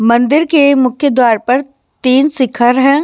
मंदिर के मुख्य द्वार पर तीन शिखर है।